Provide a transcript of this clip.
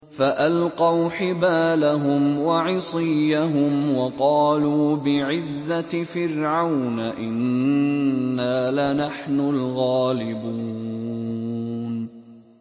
فَأَلْقَوْا حِبَالَهُمْ وَعِصِيَّهُمْ وَقَالُوا بِعِزَّةِ فِرْعَوْنَ إِنَّا لَنَحْنُ الْغَالِبُونَ